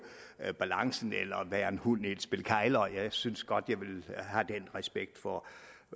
balancen eller være en hund i et spil kegler jeg synes godt jeg vil have den respekt for